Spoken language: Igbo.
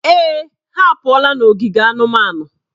Èè, ha apụọla n'ogige anụmanụ.